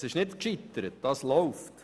Es ist nicht gescheitert, es läuft.